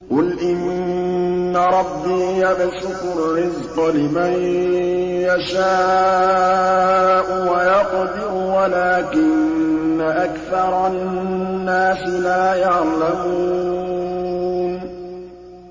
قُلْ إِنَّ رَبِّي يَبْسُطُ الرِّزْقَ لِمَن يَشَاءُ وَيَقْدِرُ وَلَٰكِنَّ أَكْثَرَ النَّاسِ لَا يَعْلَمُونَ